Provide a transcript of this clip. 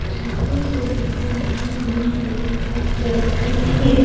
जहां से देखा वहां ग्रीन कलर का भी है।